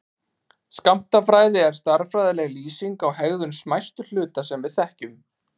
Skammtafræði er stærðfræðileg lýsing á hegðun smæstu hluta sem við þekkjum.